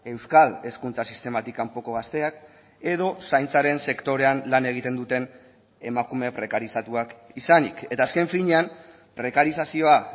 euskal hezkuntza sistematik kanpoko gazteak edo zaintzaren sektorean lan egiten duten emakume prekarizatuak izanik eta azken finean prekarizazioa